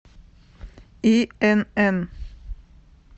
инн